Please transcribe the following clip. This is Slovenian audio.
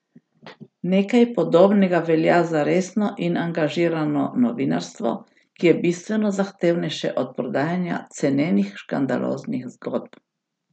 Nekaj podobnega velja za resno in angažirano novinarstvo, ki je bistveno zahtevnejše od prodajanja cenenih škandaloznih zgodb.